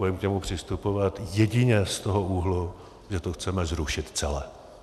Budeme k němu přistupovat jedině z toho úhlu, že to chceme zrušit celé.